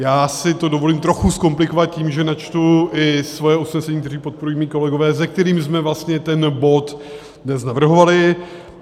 Já si to dovolím trochu zkomplikovat tím, že načtu i svoje usnesení, které podporují mí kolegové, se kterými jsme vlastně ten bod dnes navrhovali.